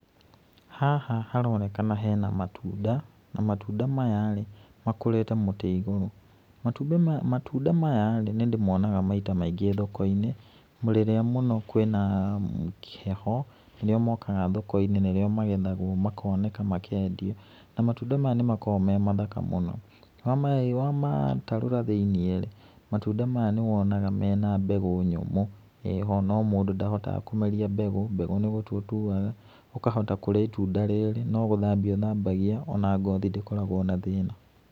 Haha haronekana hena matunda na matunda maya rĩ, makũrĩte mũti igũrũ, Matunda maya-rĩ nĩ ndĩmonaga maita maingĩ thoko-inĩ rirĩa mũno kwĩna heho nĩrĩo mokaga thoko-inĩ nĩrĩo magethagwo makoneka makendio, na matunda maya nimakoragwo me mathaka mũno wamatarũra thĩĩnIĩ-rĩ matunda maya nĩ wonaga mena mbegũ nyũmũ ĩho no mũndũ ndahotaga kũmeria mbegũ, mbegũ nĩgũtwa ũtuaga, ũkahota kũria itunda rĩrĩ no gũthambia ũthambagia ona ngothi ndĩkoragwo na thĩna.